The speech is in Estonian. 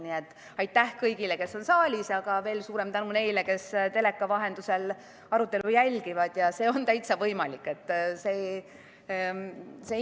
Nii et aitäh kõigile, kes on saalis, aga veel suurem tänu neile, kes teleka vahendusel arutelu jälgivad, see on täitsa võimalik!